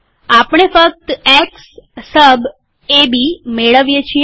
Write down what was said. આપણે ફક્ત x sub AB મેળવીએ છીએ